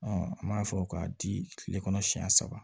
an b'a fɔ k'a di kile kɔnɔ siɲɛ saba